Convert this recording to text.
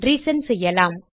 recent செய்யலாம்